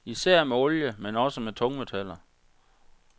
Især med olie, men også med tungmetaller.